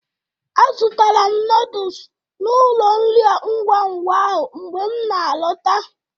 Azụtara m noodus na ụlọ nri ngwa ngwa ahụ mgbe m na-alọta